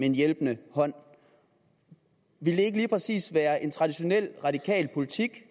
en hjælpende hånd ville det ikke lige præcis være en traditionel radikal politik